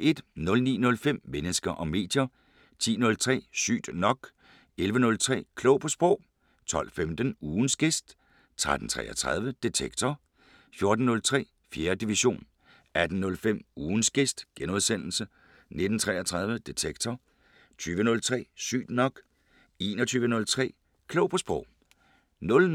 09:05: Mennesker og medier 10:03: Sygt nok 11:03: Klog på Sprog 12:15: Ugens gæst 13:33: Detektor 14:03: 4. division 18:05: Ugens gæst * 19:33: Detektor 20:03: Sygt nok 21:03: Klog på Sprog